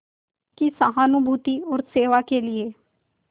की सहानुभूति और सेवा के लिए